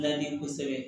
Ladi kosɛbɛ